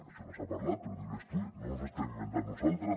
això no s’ha parlat però ho diu l’estudi no ens ho estem inventant nosaltres